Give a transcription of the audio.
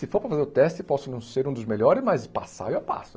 Se for para fazer o teste, posso não ser um dos melhores, mas passar, eu passo.